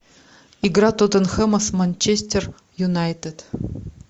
игра тоттенхэма с манчестер юнайтед